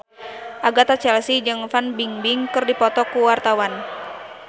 Agatha Chelsea jeung Fan Bingbing keur dipoto ku wartawan